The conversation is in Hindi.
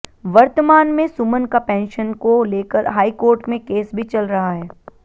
वर्तमान में सुमन का पेंशन को लेकर हाईकोर्ट में केस भी चल रहा है